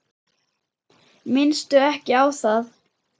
Minnstu ekki á það.